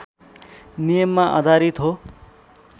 नियममा आधारित हो